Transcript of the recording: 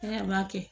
N'a m'a kɛ